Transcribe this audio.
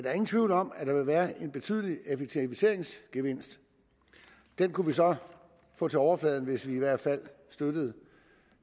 er ingen tvivl om at der vil være en betydelig effektiviseringsgevinst den kunne vi så få til overfladen hvis vi i hvert fald støttede